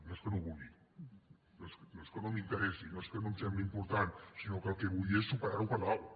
no és que no ho vulgui no és que no m’interessi no és que no em sembli important sinó que el que vull és superar ho per dalt